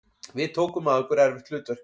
Við tókum að okkur erfitt hlutverk